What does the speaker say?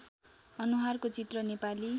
अनुहारको चित्र नेपाली